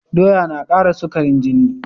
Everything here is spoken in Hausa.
Doya na kara sukarin jini